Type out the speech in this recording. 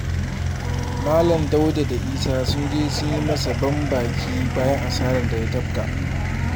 Malam Dauda da Isa sun je sun yi masa ban baki bayan asarar da ya tafka